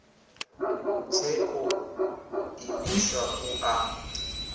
tshe o imiswa u ḓa